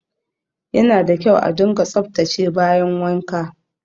Yana da kyau a dunga tsaftace bayin wanka